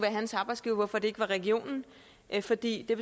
hans arbejdsgiver hvorfor det ikke var regionen fordi det